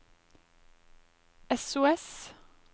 sos